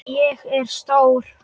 Ég er stór.